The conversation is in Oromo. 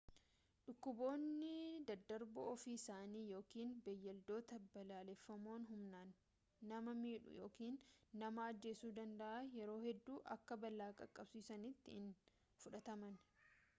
dhukkuboonni daddarboon ofii isaanii yookiin beeyladooti balaafamoon humnaan nama miidhuu yookaan nama ajjeesuu danda'an yeroo hedduu akka balaa qaqqabsiisanitti hin fudhatamani